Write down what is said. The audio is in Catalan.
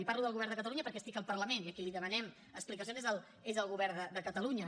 i parlo del govern de catalunya perquè estic al parlament i a qui li demanem explicacions és al govern de catalunya